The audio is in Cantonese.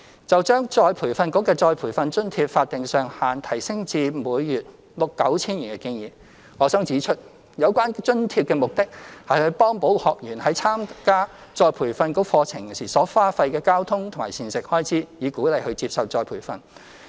就將再培訓局的再培訓津貼法定上限提升至每月 9,000 元的建議，我想指出有關津貼的目的是幫補學員為參加再培訓局課程時所花費的交通及膳食開支，以鼓勵他們接受再培訓。